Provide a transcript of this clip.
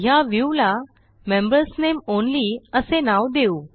ह्या Viewला members name only असे नाव देऊ